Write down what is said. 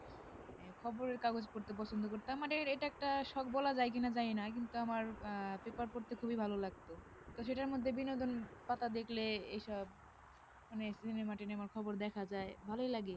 খবরের কাগজ পড়তে পছন্দ করতাম মানে এটা একটা শখ বলা যায় কিনা জানি না কিন্তু আমার আহ paper পড়তে খুবই ভালো লাগত তো সেটার মধ্যে বিনোদন পাতা এসব মানে সিনেমা টিনেমার খবর দেখা যায় ভালোই লাগে